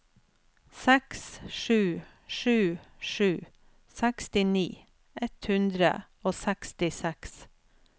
seks sju sju sju sekstini ett hundre og sekstiseks